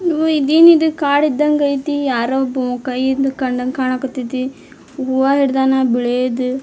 ಓ ಇದೇನಿದು ಕಾಡ್ ಇದಂಗಯ್ತಿ ಯಾರೋ ಒಬ್ಬವ್ ಕೈಯಿಂದ ಕಂಡಂಗ್ ಕಾಣಕತೈತಿ ಹೂವಾ ಹಿಡದನ್ ಬಿಳಿದ್ .